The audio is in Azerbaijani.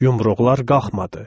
Yumruqlar qalxmadı.